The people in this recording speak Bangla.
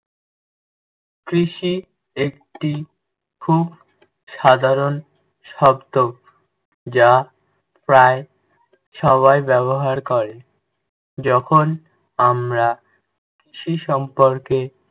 কৃষি একটি খুব সাধারণ শব্দ যা প্রায় সবাই ব্যবহার করে। যখন আমরা কৃষি সম্পর্কে